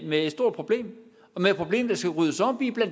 med et stort problem